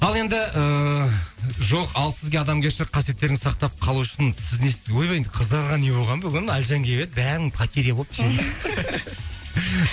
ал енді ыыы жоқ ал сізге адамгершілік қасиеттерін сақтап қалу үшін сіз не ойбай қыздарға не болған бүгін әлжан келіп еді бәрің потеря болып